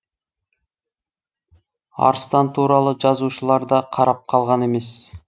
арыстан туралы жазушылар да қарап қалған емес